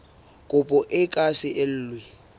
kopo e ka se elwe